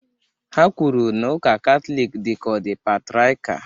Ha kwuru na ụka Katọlik dị ka ọ dị patriakial